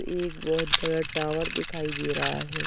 एक बहुत बड़ा टॉवर दिखाई दे रहा है।